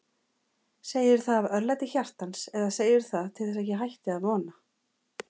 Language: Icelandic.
Segirðu það af örlæti hjartans eða segirðu það til þess ég hætti að vona.